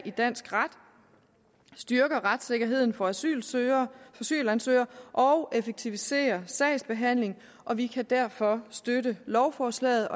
i dansk ret styrker retssikkerheden for asylansøgere asylansøgere og effektiviserer sagsbehandlingen og vi kan derfor støtte lovforslaget